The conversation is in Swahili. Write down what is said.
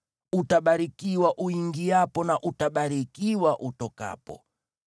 Utabarikiwa uingiapo na utabarikiwa utokapo.